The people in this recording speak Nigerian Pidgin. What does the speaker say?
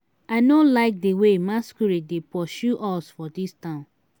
i no like the way masquerade dey pursue us for dis town.